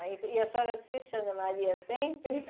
Ah, e a senhora assiste a Ana Maria sempre?